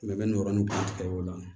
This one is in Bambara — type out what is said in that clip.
yɔrɔnin bɛɛ tigɛ o la